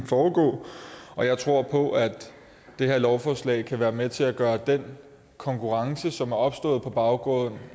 foregå og jeg tror på at det her lovforslag kan være med til at gøre den konkurrence som er opstået på baggrund